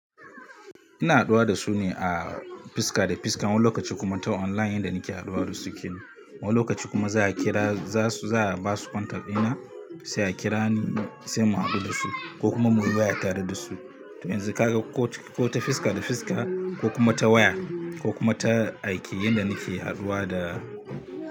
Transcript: Ina haduwa da su ne a fiska da fiska, wani lokaci kuma ta online inda nake haduwa da su kin. Wani lokaci kuma za a kira, za su, za a ba su kwantar ina sai a kira ni sai mu haɗu da su ko kuma muyi waya tare da su. To me yanzu haka ko, ko ta fiska da fiska ko kuma ta waya ko kuma ta aiki inda nake haduwa da.